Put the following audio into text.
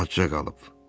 Azca qalıb.